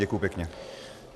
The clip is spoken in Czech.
Děkuji pěkně.